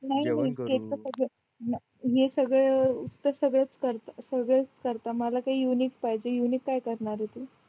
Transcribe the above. जेवण करू हे सगळं सगळेच करतात मला काय युनिक पाहिजे युनिक काय करणारे तू